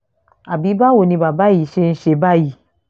àbí báwo ni bàbá yìí ṣe ń ṣe báyìí